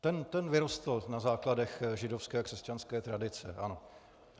Ten vyrostl na základech židovské a křesťanské tradice, ano.